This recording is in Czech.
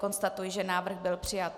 Konstatuji, že návrh byl přijat.